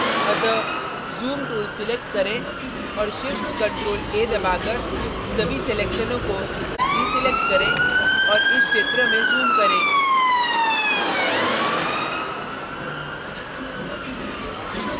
अतः zoom tool select करें और shift + ctrl + a दबाकर सभी selections को deselect करें और इस क्षेत्र में zoom करें